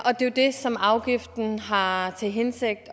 og det er det som afgiften har har til hensigt